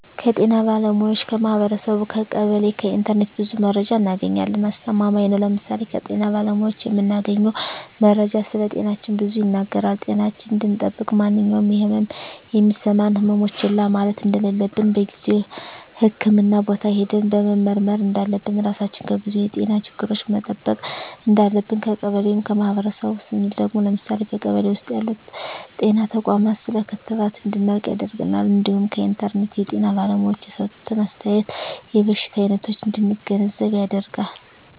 ከጤና ባለሙያዎች ,ከማህበረሰቡ , ከቀበሌ ,ከኢንተርኔት ብዙ መረጃ እናገኛለን። አስተማማኝ ነው ለምሳሌ ከጤና ባለሙያዎች የምናገኘው መረጃ ስለጤናችን ብዙ ይናገራል ጤናችን እንድጠብቅ ማንኛውም የህመም የሚሰማን ህመሞች ችላ ማለት እንደለለብን በጊዜው ህክምህና ቦታ ሄደን መመርመር እንዳለብን, ራሳችን ከብዙ የጤና ችግሮች መጠበቅ እንዳለብን። ከቀበሌ ወይም ከማህበረሰቡ ስንል ደግሞ ለምሳሌ በቀበሌ ውስጥ ያሉ ጤና ተቋማት ስለ ክትባት እንድናውቅ ያደርገናል እንዲሁም ከኢንተርኔት የጤና ባለሙያዎች የሰጡትን አስተያየት የበሽታ አይነቶች እንድንገነዘብ ያደርጋል።